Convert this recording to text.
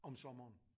Om sommeren